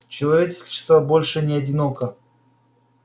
человечество больше не одиноко